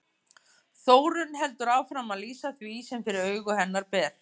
Þórunn heldur áfram að lýsa því sem fyrir augu hennar ber.